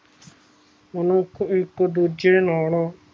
ਮਨੁੱਖ ਇੱਕ ਦੂਜੇ ਨਾਲੋਂ